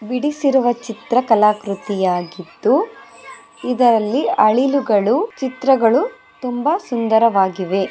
ಬಿಡಿಸಿರುವ ಚಿತ್ರಕಲಾ ಕೃತಿಯಾಗಿದ್ದು ಇದರಲ್ಲಿ ಅಳಿಲುಗಳು ಚಿತ್ರಗಳು ತುಂಬಾ ಸುಂದರವಾಗಿವೆ.